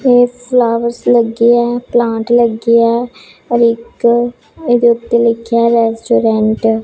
ਤੇ ਫਲਾਵਰਸ ਲੱਗੇ ਹੈ ਤੇ ਪਲਾਂਟ ਲੱਗੇ ਹੈ ਔਰ ਇੱਕ ਇਹਦੇ ਉੱਤੇ ਲਿਖਿਆ ਰੈਸਟੋਰੈਂਟ ।